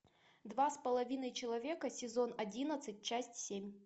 два с половиной человека сезон одиннадцать часть семь